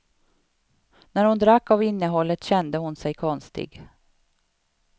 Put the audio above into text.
När hon drack av innehållet kände hon sig konstig.